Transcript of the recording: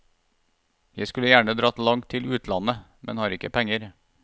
Jeg skulle gjerne dratt langt til utlandet, men har ikke penger.